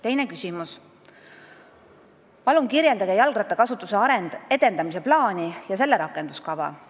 Teine küsimus: "Palun kirjeldage jalgrattakasutuse edendamise plaani ja selle rakenduskava!